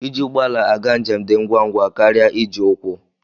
Iji ụgbọala aga njem dị ngwangwa karịa iji ụkwụ.